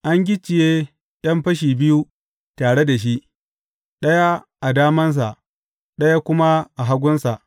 An gicciye ’yan fashi biyu tare da shi, ɗaya a damansa, ɗaya kuma a hagunsa.